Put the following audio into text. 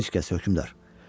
Heç kəs, hökmdar.